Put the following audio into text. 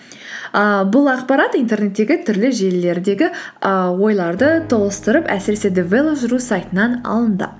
ііі бұл ақпарат интернеттегі түрлі желілердегі і ойларды тоғыстырып әсіресе девелоп сайтынан алынды